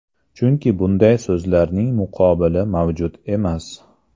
Chunki bunday so‘zlarning muqobili mavjud emas.